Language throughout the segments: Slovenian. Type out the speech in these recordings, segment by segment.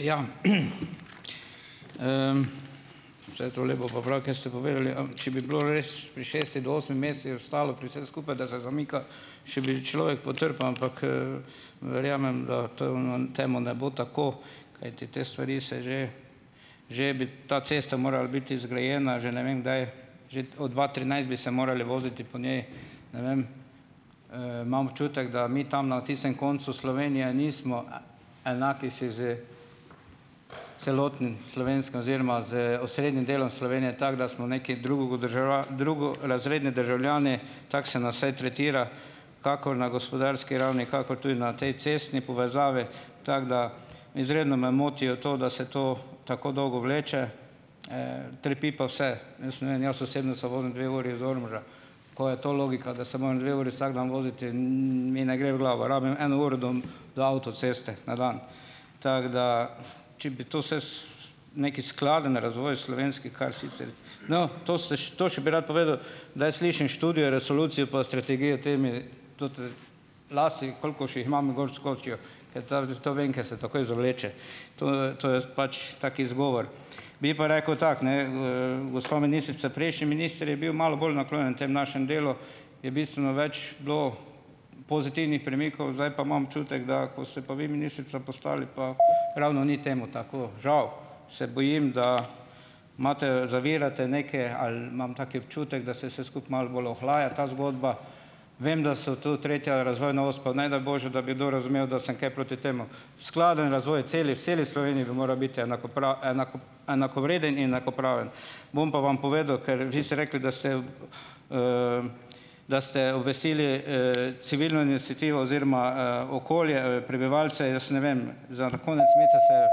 Ja, vse tole bo pa prav, kar ste povedali . če bi bilo res, pri šest do osem mesecih ostalo pri vsem skupaj, da zdaj zamika, še bi človek potrpel, ampak, verjamem, da to je ono, temu ne bo tako, kajti te stvari se že, že bi ta cesta morala biti zgrajena že ne vem kdaj, že od dva trinajst bi se morali voziti po njej. Ne vem, imam občutek, da mi tam na tistem koncu Slovenije nismo, enaki si s celotnim slovenskim oziroma z osrednjim delom Slovenije, tako da smo nekaj drugo drugorazredni državljani, tako se nas vsaj tretira, kakor na gospodarski ravni , kakor tudi na tej cestni povezavi. Tako da, izredno me moti to, da se to tako dolgo vleče, trpi pa vse. Jaz ne vem, jaz osebno se vozim dve uri iz Ormoža. Ko je to logika, da se moram dve uri vsak dan voziti, mi ne gre v glavo. Rabim eno uro do do avtoceste na dan. Tako da če bi to vse neki skladen razvoj slovenski, kar sicer ... No, to se to še bi rad povedal, daj slišim študijo, resolucijo pa strategijo temi, to te lase, koliko še jih imam, gor skočijo, ker ta, to vem, ker se takoj zavleče. To, to je pač tak izgovor. Bi pa rekel tako, ne, gospa ministrica. Prejšnji minister je bil malo bolj naklonjen temu našemu delu, je bistveno več bilo pozitivnih premikov, zdaj pa imam občutek, da ko ste pa vi ministrica postali, pa ravno ni temu tako. Žal. Se bojim, da imate, zavirate neke, ali imam taki občutek, da se se skupaj malo bolj ohlaja ta zgodba. Vem, da so tu tretja razvojna os, pa ne daj bože, da bi do razumel, da sem kaj proti temu. Skladen razvoj celi, v celi Sloveniji bi moral biti enakovreden in enakopraven. Bom pa vam povedal, ker vi ste rekli, da ste, da ste veseli, civilne iniciativo oziroma, okolje, prebivalce, jaz ne vem. Za konec mesece se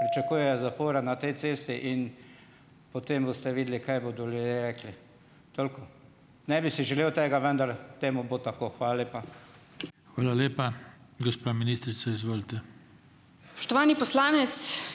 pričakujejo zapora na tej cesti in potem boste videli, kaj bodo ljudje rekli. Toliko. Ne bi si želel tega, vendar temu bo tako. Hvala lepa. Hvala lepa. Gospa ministrica, izvolite.